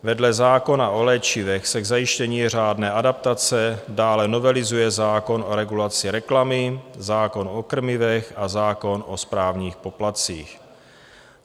Vedle zákona o léčivech se k zajištění řádné adaptace dále novelizuje zákon o regulaci reklamy, zákon o krmivech a zákon o správních poplatcích.